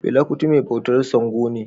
Fela Kuti mai bautar Sango ne